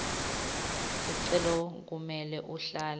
sicelo kumele uhlale